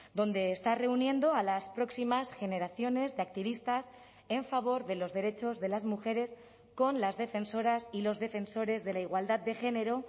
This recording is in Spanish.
donde está reuniendo a las próximas generaciones de activistas en favor de los derechos de las mujeres con las defensoras y los defensores de la igualdad de género